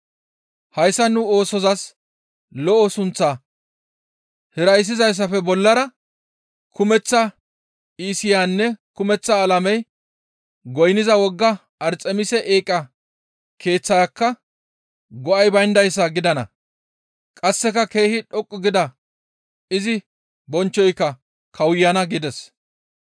Hayssa nu oosozas lo7o sunththaa hirayssizayssafe bollara kumeththa Iisiyaynne kumeththa alamey goynniza wogga Arxemise eeqa keeththayka go7ay bayndayssa gidana; qasseka keehi dhoqqu gida izi bonchchoyka kawuyana» gides.